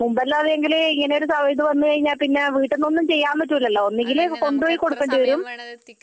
മുൻപ് എല്ലാമാണെങ്കിൽ ഇങ്ങനെ ഒരു ഇത് വന്നു കഴിഞ്ഞാൽ വീട്ടിൽ നിന്നും ഒന്നും ചെയ്യാൻ പറ്റില്ലല്ലോ ഒന്നുകിൽ കൊണ്ടുപോയി കൊടുക്കേണ്ടി വരും